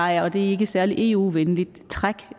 er et ikke særlig eu venligt træk